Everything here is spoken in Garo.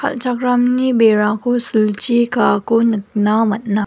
kal·chakramni berako silchi kaako nikna man·a.